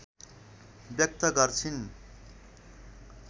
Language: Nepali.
व्यक्त गर्छिन्।